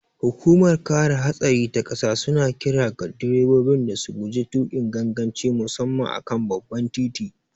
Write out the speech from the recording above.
Hukumar kare hatsari ta ƙasa suna kira ga direbobi da su guji tukin ganganci musamman a kan babban titi.